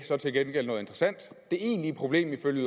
så til gengæld noget interessant det egentlige problem er ifølge